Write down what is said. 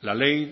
la ley